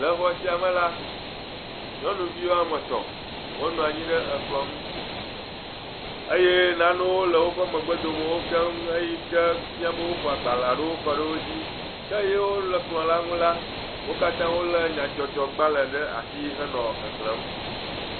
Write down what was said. Le exɔ sia me la, nyɔnuvi woame tɔ̃, wonɔ anyi ɖe ekplɔ ŋu eye nanewo le woƒe megbe domewo keŋ eyike fia be wofɔ agbalẽ aɖewo kɔ ɖe wo dzi, ke yewole kplɔ la ŋu la, wo katã wolé nyadzɔdzɔgbalẽ ɖe asi henɔ xexlẽm.